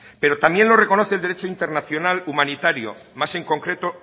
pero también lo reconoce el derecho internacional humanitario más en concreto